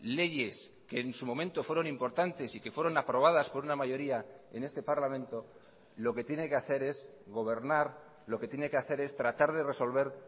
leyes que en su momento fueron importantes y que fueron aprobadas por una mayoría en este parlamento lo que tiene que hacer es gobernar lo que tiene que hacer es tratar de resolver